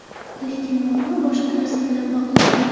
Lekin muammo boshqa narsa bilan bog‘liq.